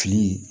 Fili ye